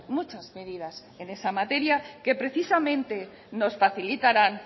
muchas medidas en esa materia que precisamente nos facilitarán